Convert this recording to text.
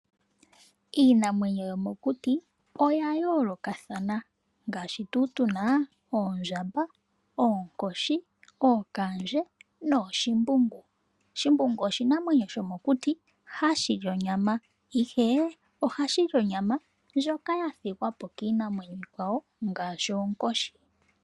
Iinamwenyo yomo kuti oya yoolokathana ngaashi tuna oondjamba, oonkoshi, ookandje nooshimbungu. Shimbungu oshinamwenyo shomo kuti hashi li onyama ihe ohashi li onyama ndyoka ya thigwapo kiinamwenyo iikwawo ngaashi oonkoshi.